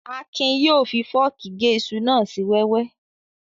Akin yóò fi fọ́ọ̀kì gé iṣu náà sí wẹ́wẹ́